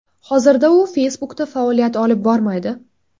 Hozirda u Facebook’da faoliyat olib bormaydi.